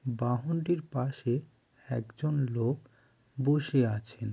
বাহনটির পাশে একজন লোক বসে আছেন।